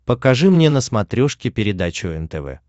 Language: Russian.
покажи мне на смотрешке передачу нтв